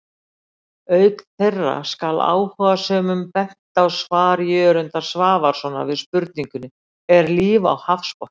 Auk þeirra skal áhugasömum bent á svar Jörundar Svavarssonar við spurningunni Er líf á hafsbotni?